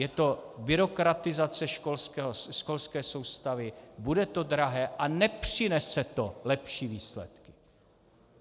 Je to byrokratizace školské soustavy, bude to drahé a nepřinese to lepší výsledky.